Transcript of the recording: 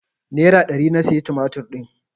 Nera ɗari na siya tumatir din.